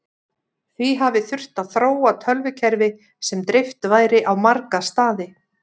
Því hafi þurft að þróa tölvukerfi sem dreift væri á marga staði.